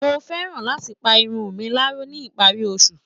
Mo fẹ́ran láti pa irun mi láró ní ìparí oṣù